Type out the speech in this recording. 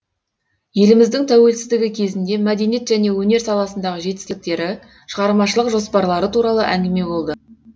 еліміздің тәуелсіздігі кезінде мәдениет және өнер саласындағы жетістіктері шығармашылық жоспарлары туралы әңгіме болды